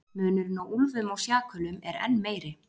Munurinn á úlfum og sjakölum er enn meiri.